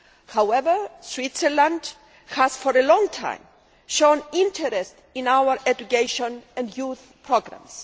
However, Switzerland has, for a long time, shown interest in our education and youth programmes.